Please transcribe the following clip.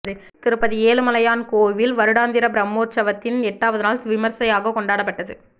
திருப்பதி ஏழுமலையான் கோயில் வருடாந்திர பிரம்மோற்சவத்தின் எட்டாவது நாள் விமர்சையாக கொண்டாடப்பட்டது